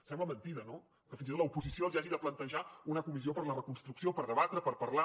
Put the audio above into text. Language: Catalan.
sembla mentida no que fins i tot l’oposició els hagi de plantejar una comissió per a la reconstrucció per debatre per parlar